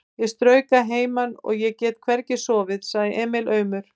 Ég strauk að heiman og ég get hvergi sofið, sagði Emil aumur.